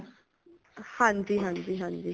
ਹਾਂਜੀ ਹਾਂਜੀ ਹਾਂਜੀ